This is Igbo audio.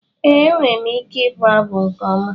Ee, enwere m ike ịbụ abụ nke ọma